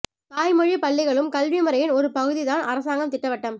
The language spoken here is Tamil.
தாய்மொழிப் பள்ளிகளும் கல்வி முறையின் ஒரு பகுதிதான் அரசாங்கம் திட்டவட்டம்